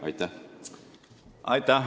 Aitäh!